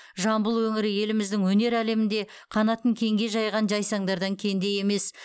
жамбыл өңірі еліміздің өнер әлемінде қанатын кеңге жайған жайсаңдардан кенде емес